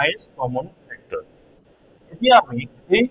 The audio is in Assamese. highest common factor এতিয়া আমি